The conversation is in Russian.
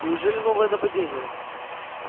неужели новое нападение